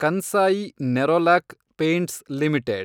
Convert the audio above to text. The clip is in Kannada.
Kansai Nerolac paints limited